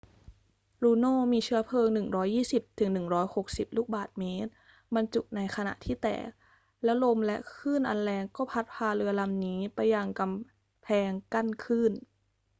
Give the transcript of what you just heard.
ลูโนมีเชื้อเพลิง 120-160 ลูกบาศก์เมตรบรรจุอยู่ในขณะที่แตก แล้วลมและคลื่นอันแรงก็พัดพาเรือลำนี้ไปยังกำแพงกั้นคลื่น